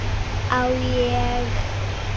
Á ég.?